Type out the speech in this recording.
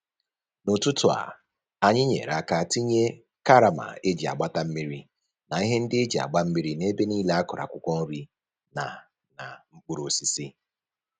N'ụtụtụ a, anyị nyere aka tinye karama e ji agbata mmiri na ihe ndị e ji agba mmiri n'ebe nile a kụrụ akwụkwọ nri na na mkpụrụosisi